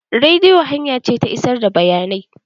Rediyo hanya ce ta isar da bayanai.